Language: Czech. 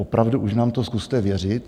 Opravdu už nám to zkuste věřit.